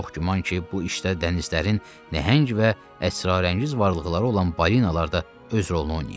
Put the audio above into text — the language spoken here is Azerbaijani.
Çox güman ki, bu işdə dənizlərin nəhəng və əsrarəngiz varlıqları olan balinalar da öz rolunu oynayıb.